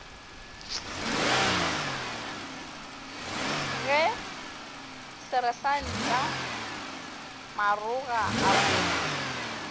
ge seresanta maroga a mo